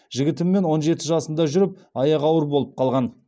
жігітімен он жеті жасында жүріп аяғы ауыр болып қалған